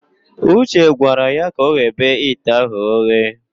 Uche gwara ya ka ọghebe ite ahụ oghe.